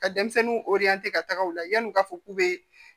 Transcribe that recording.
Ka denmisɛnninw ka taga u la yan'u ka fɔ k'u bɛ